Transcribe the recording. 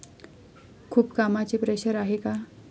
खूप कामाचे प्रेशर आहे का?